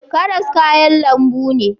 Karas kayan lambu ne